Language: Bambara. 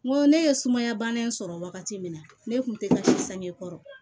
N ko ne ye suma in sɔrɔ wagati min na ne tun tɛ ka sange kɔrɔ